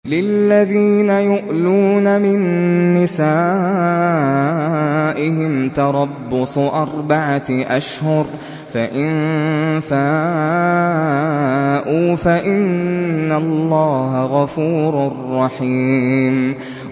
لِّلَّذِينَ يُؤْلُونَ مِن نِّسَائِهِمْ تَرَبُّصُ أَرْبَعَةِ أَشْهُرٍ ۖ فَإِن فَاءُوا فَإِنَّ اللَّهَ غَفُورٌ رَّحِيمٌ